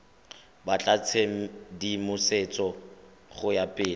batla tshedimosetso go ya pele